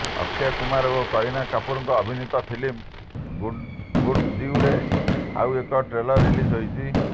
ଅକ୍ଷୟ କୁମାର ଓ କରୀନା କପୁରଙ୍କ ଅଭିନୀତ ଫିଲ୍ମ ଗୁଡ୍ନ୍ୟୁଜ୍ର ଆଉ ଏକ ଟ୍ରେଲର ରିଲିଜ୍ ହୋଇଛି